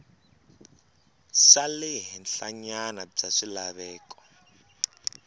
xa le henhlanyana bya swilaveko